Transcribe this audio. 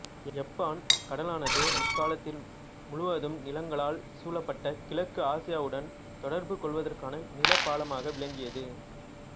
யப்பான் கடலானது முற்காலத்தில் முழுவதும் நிலங்களால் சூழப்பட்ட கிழக்கு ஆசியாவுடன் தொடர்பு கொள்வதற்கான நிலப்பாலமாக விளங்கியது